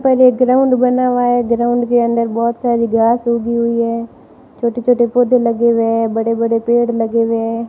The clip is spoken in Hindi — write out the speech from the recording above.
पर एक ग्राउंड बना हुआ है ग्राउंड के अंदर बहोत सारी घास उगी हुई है छोटे छोटे पौधे लगे हुए हैं बड़े बड़े पेड़ लगे हुए हैं।